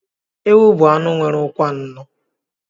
Ewu bụ anụ nwere ụkwụ anọ.